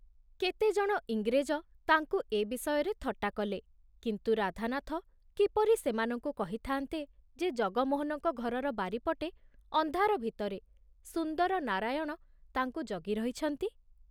କେତେଜଣ ଇଂରେଜ ତାଙ୍କୁ ଏ ବିଷୟରେ ଥଟ୍ଟା କଲେ, କିନ୍ତୁ ରାଧାନାଥ କିପରି ସେମାନଙ୍କୁ କହିଥାନ୍ତେ ଯେ ଜଗମୋହନଙ୍କ ଘରର ବାରିପଟେ ଅନ୍ଧାର ଭିତରେ ସୁନ୍ଦର ନାରାୟଣ ତାଙ୍କୁ ଜଗି ରହିଛନ୍ତି